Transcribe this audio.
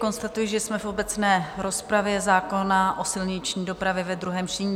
Konstatuji, že jsme v obecné rozpravě zákona o silniční dopravě ve druhém čtení.